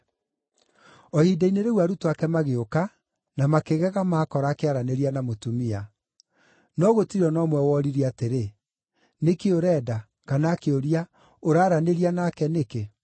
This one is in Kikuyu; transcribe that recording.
O ihinda-inĩ rĩu arutwo ake magĩũka, na makĩgega maakora akĩaranĩria na mũtumia. No gũtirĩ o na ũmwe woririe atĩrĩ, “Nĩ kĩĩ ũrenda?” kana akĩũria, “Ũraaranĩria nake nĩkĩ?”